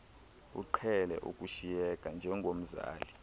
uqhele ukushiyeka njengomzali